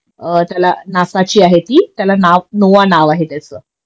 अ त्याला नासाची आहे ती त्याला नाव नोव्हा नाव आहे त्याच